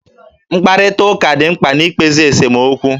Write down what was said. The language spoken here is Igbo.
Mkparịtaụka dị mkpa na-ikpezi esomokwu